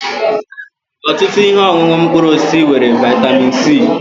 Ọtụtụ ihe ọṅụṅụ mkpụrụ osisi nwere vịatamin c.